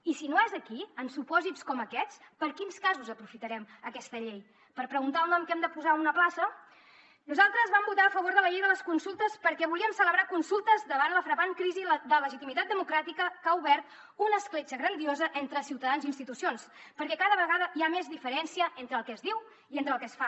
i si no és aquí en supòsits com aquests per a quins casos aprofitarem aquesta llei per preguntar el nom que hem de posar a una plaça nosaltres vam votar a favor de la llei de les consultes perquè volíem celebrar consultes davant la frapant crisi de legitimitat democràtica que ha obert una escletxa grandiosa entre ciutadans i institucions perquè cada vegada hi ha més diferència entre el que es diu i el que es fa